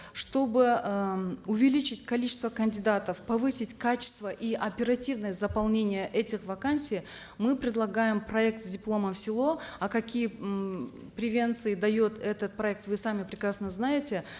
чтобы э увеличить количество кандидатов повысить качество и оперативность заполнения этих вакансий мы предлагаем проект с дипломом в село а какие м превенции дает этот проект вы сами прекрасно знаете